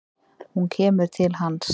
Hún kemur til hans.